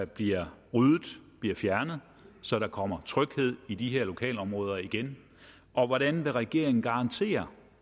bliver ryddet bliver fjernet så der kommer tryghed i de her lokalområder igen og hvordan vil regeringen garantere